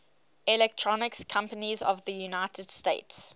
electronics companies of the united states